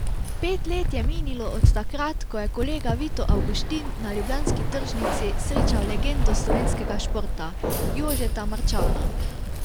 Pet let je minilo od takrat, ko je kolega Vito Avguštin na ljubljanski tržnici srečal legendo slovenskega športa, Jožeta Marčana.